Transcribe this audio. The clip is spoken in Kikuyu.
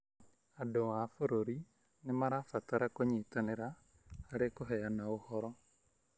Andũ a bũrũri nĩ marabatara kũnyitanĩra harĩ kũheana ũhoro.